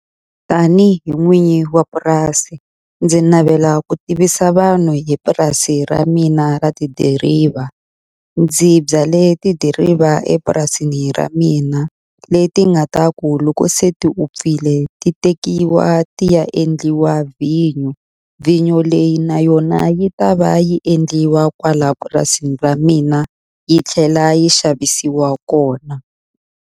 Tani hi n'winyi wa purasi ndzi navela ku tivisa vanhu hi purasi ra mina ra tidiriva ndzi byale tidiriva epurasini ra mina leti nga ta ku loko se ti upfile ti tekiwa ti ya endliwa vhinyo vhinyo leyi na yona yi ta va yi endliwa kwala purasini ra mina yi tlhela yi xavisiwa kona.